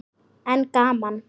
En gaman.